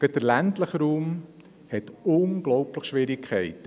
Gerade der ländliche Raum hat unglaubliche Schwierigkeiten.